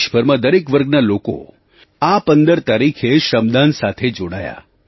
દેશભરમાં દરેક વર્ગના લોકો આ 15 તારીખે આ શ્રમદાન સાથે જોડાયા